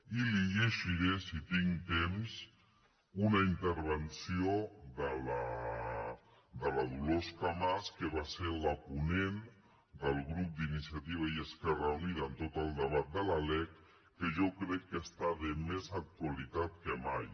i li llegiré si tinc temps una intervenció de la dolors camats que va ser la ponent del grup d’iniciativa i esquerra unida en tot el debat de la lec que jo crec que està de més actualitat que mai